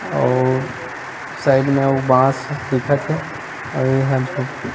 और साइड में अउ बांस दिखत हे अउ एहा झोपड़ी--